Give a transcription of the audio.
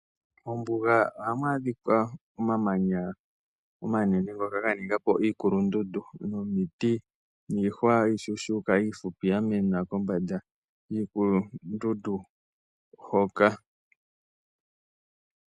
Mombuga ohamu adhika omamanya omanene ngoka ga ninga po iikulundundu nomiti niihwa iishushuka iifupi yamena kombanda yiikulundundu hoka.